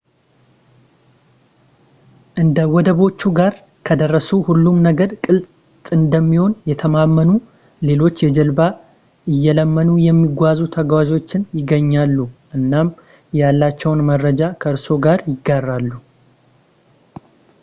አንዴ ወደቦቹ ጋር ከደረሱ ሁሉም ነገር ግልጽ እንደሚሆን ይተማመኑ ሌሎች የጀልባ እየለመኑ የሚጓዙ ተጓዞችን ያገኛሉ እናም ያሏቸውን መረጃዎች ከእርስዎ ጋር ያጋራሉ